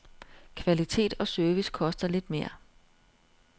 Kvalitet og service koster lidt mere.